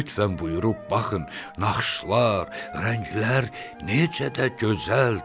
Lütfən buyurub baxın, naxışlar, rənglər necə də gözəldir.